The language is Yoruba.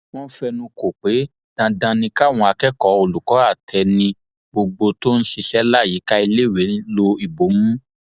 wọn fẹnu kò pé dandan ni káwọn akẹkọọ olùkọ àtẹni gbogbo tó ń ṣiṣẹ láyìíká iléèwé lo ìbomú